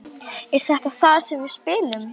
Er þetta þar sem við spilum?